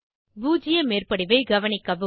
பூஜ்ஜிய மேற்படிவை கவனிக்கவும்